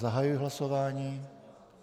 Zahajuji hlasování.